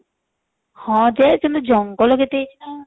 ହଁ ଯେ କିନ୍ତୁ ଜଙ୍ଗଲ କେତେ ହେଇଛି ଯେ